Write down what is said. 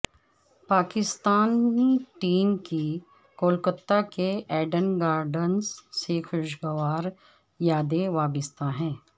Pakistani team کی کولکتہ کے Eden Gardens سے خوشگوار یادیں وابستہ ہیں